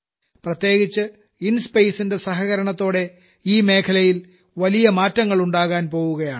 പ്രത്യേകിച്ച് കി ടുമരല ന്റെ സഹകരണത്തോടെ ഈ മേഖലയിൽ വലിയ മാറ്റങ്ങൾ ഉണ്ടാകാൻ പോകുകയാണ്